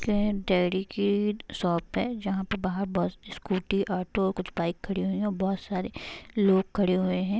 ये डेयरी की शॉप है जहां पे बाहर बस स्कूटी ऑटो कुछ बाइक खड़ी हुई है| बहोत सारे लोग खड़े हुए है ।